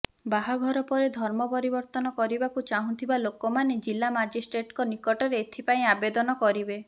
ବାହାଘର ପରେ ଧର୍ମ ପରିବର୍ତ୍ତନ କରିବାକୁ ଚାହୁଁଥିବା ଲୋକମାନେ ଜିଲ୍ଲା ମାଜିଷ୍ଟ୍ରେଟଙ୍କ ନିକଟରେ ଏଥିପାଇଁ ଆବେଦନ କରିବେ